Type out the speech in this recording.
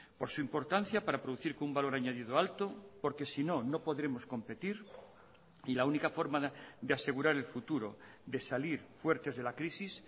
por su importancia para producir que un valor añadido alto porque sino no podremos competir y la única forma de asegurar el futuro de salir fuertes de la crisis